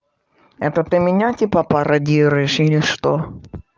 это ты меня типа пародируешь или что